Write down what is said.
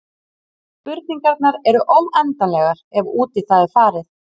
Spurningarnar eru óendanlegar ef út í það er farið.